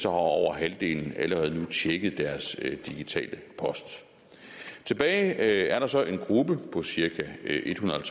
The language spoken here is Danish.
over halvdelen allerede nu tjekket deres digitale post tilbage er der så en gruppe på cirka ethundrede og